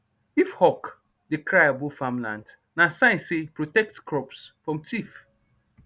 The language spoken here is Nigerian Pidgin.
if hawk dey cry above farmland na sign say protect crops from thief